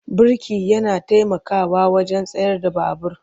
Birki yana taimakawa wajen tsayar da babur.